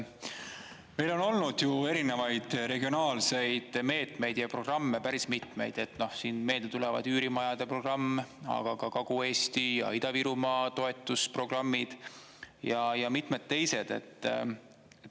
Meil on olnud ju erinevaid regionaalseid meetmeid ja programme päris mitmeid, noh meelde tulevad üürimajade programm, aga ka Kagu-Eesti ja Ida-Virumaa toetusprogrammid ja mitmed teised.